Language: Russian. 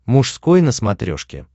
мужской на смотрешке